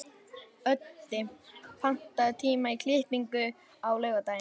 Öddi, pantaðu tíma í klippingu á laugardaginn.